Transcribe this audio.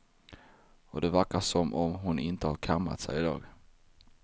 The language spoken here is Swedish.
Och det verkar som om hon inte har kammat sig idag.